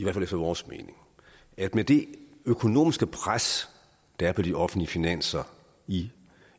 fald efter vores mening at med det økonomiske pres der er på de offentlige finanser i